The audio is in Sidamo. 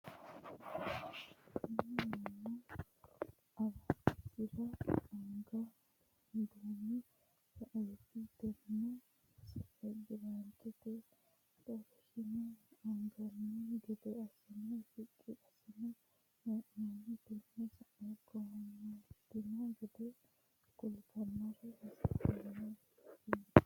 Tinni mannu araadisira agano duume sa'eeti. Tenne sa'e birciqote xorshine anganni gede asinne shiqi asine hee'noonni. Tenne sa'e coomitanno gede sukaare horoonsi'nanni.